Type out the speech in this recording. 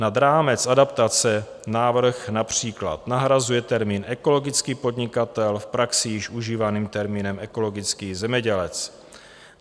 Nad rámec adaptace návrh například nahrazuje termín ekologický podnikatel v praxi již užívaným termínem ekologický zemědělec.